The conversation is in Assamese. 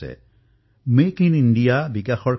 জনসাধাৰণে এতিয়া ইয়াক নিজৰ অভিযানলৈ পৰিৱৰ্তিত কৰিছে